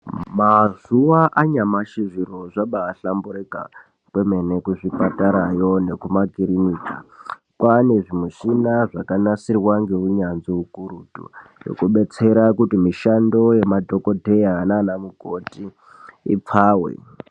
Mazuva anyamashi zviro zvabahlamburika kwemene kuzvipatarayo nekumakirinika. Kwaane zvimishina zvakanasirwa ngeunyanzvi hukurutu. Zvekubetsera kuti mishando yemadhokodheya naana mukoti ipfave.